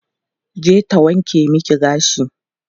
Je ta wanke miki gashi.